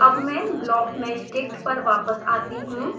अब मैं blockmeshdict पर वापस आती हूँ